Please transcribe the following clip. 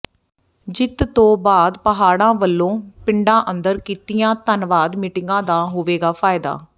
ਜਿੱਤ ਤੋਂ ਬਾਅਦ ਪਾਹੜਾ ਵੱਲੋਂ ਪਿੰਡਾਂ ਅੰਦਰ ਕੀਤੀਆਂ ਧੰਨਵਾਦ ਮੀਟਿੰਗਾਂ ਦਾ ਹੋਵੇਗਾ ਫ਼ਾਇਦਾ